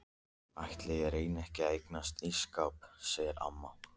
Ætli ég reyni ekki að eignast ísskáp sagði amma.